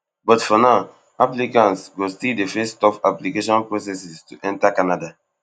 but for now applicants go still dey face tough application processes to enta canada